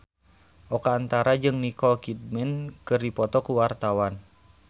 Oka Antara jeung Nicole Kidman keur dipoto ku wartawan